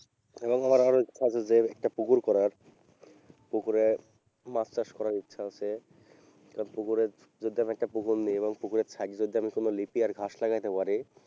এবং আমার আরও ইচ্ছা আছে যে একটা পুকুর করার পুকুরে মাছ চাষ করার ইচ্ছা আছে, এবার পুকুরে যদি আমি একটা পুকুর নিই এবং পুকুরের side এ যদি আমি কোন লিপাই ঘাস লাগাইতে পারি,